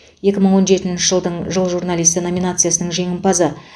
екі мың он жетінші жылдың жыл журналисі номинациясының жеңімпазы